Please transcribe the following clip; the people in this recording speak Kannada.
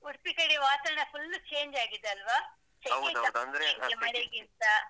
ಉಡ್ಪಿ ಕಡೇ ವಾತಾವರಣ full change ಆಗಿದೆ ಅಲ್ವಾ. ಮಳೆಗಿಂತ.